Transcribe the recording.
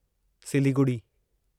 Siliguri